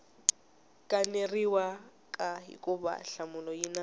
kaneriwaka hikuva nhlamulo yi na